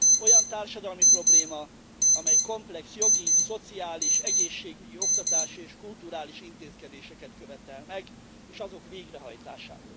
Olyan társadalmi probléma, amely komplex jogi, szociális, egészségügyi, oktatási és kulturális intézkedéseket követel meg, és azok végrehajtását.